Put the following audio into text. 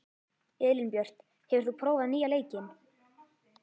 Elínbjört, hefur þú prófað nýja leikinn?